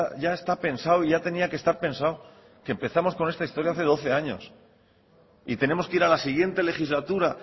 ya está pensado ya tenía que estar pensado que empezamos con esta historia hace doce años y tenemos que ir a la siguiente legislatura